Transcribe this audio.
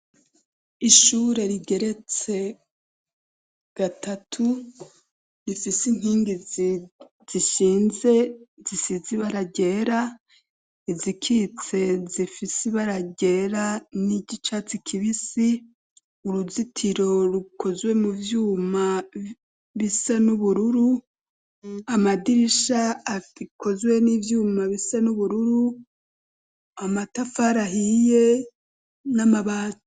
Ishure rigeretse gatatu rifisi inkingi zishinze zisizi ibara ryera, izikitse zifise ibara ryera n'igicatsi kibisi, uruzitiro rukozwe mu vyuma bisa n' ubururu amadirisha akozwe n'ivyuma bisa n'ubururu amatafari ahiye n'amabati.